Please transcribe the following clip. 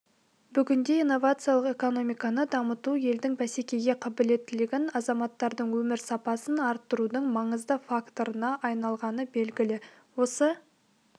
бүгінде инновациялық экономиканы дамыту елдің бәсекеге қабілеттілігін азаматтардың өмір сапасын арттырудың маңызды факторына айналғаны белгілі осы